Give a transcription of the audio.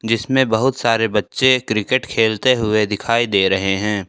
जिसमें बहुत सारे बच्चे क्रिकेट खेलते हुए दिखाई दे रहे हैं।